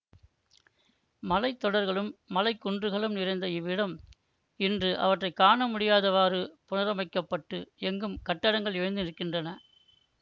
மலைத்தொடர்களும் மலைக்குன்றுகளும் நிறைந்த இவ்விடம் இன்று அவற்றை காண முடியாதவாறு புனரமைக்கப்பட்டு எங்கும் கட்டடங்கள் எழுந்து நிற்கின்றன